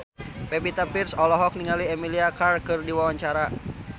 Pevita Pearce olohok ningali Emilia Clarke keur diwawancara